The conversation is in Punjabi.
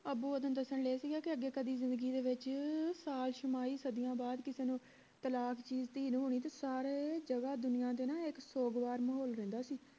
ਅੱਬੂ ਓਦਣ ਦਸਣ ਡਏ ਸੀ ਕੇ ਅੱਗੇ ਕਦੇ ਜਿੰਦਗੀ ਦੇ ਵਿਚ ਸਾਲ ਛਿਮਾਹੀ ਸਦੀਆਂ ਦੇ ਬਾਅਦ ਕਿਸੇ ਨੂੰ ਤਲਾਕ ਚੀਜ਼ ਸੀ ਸਾਰੇ ਜਗਹ ਦੁਨੀਆਂ ਤੇ ਨਾ ਇਕ ਸੋਗ ਵਾਲਾ ਮਾਹੌਲ ਰਹਿੰਦਾ ਸੀ